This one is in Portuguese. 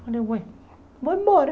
vou embora.